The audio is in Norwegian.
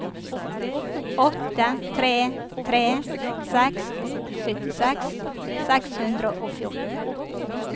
åtte tre tre seks syttiseks seks hundre og fjorten